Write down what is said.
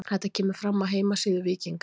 Þetta kemur fram á heimasíðu Víkinga.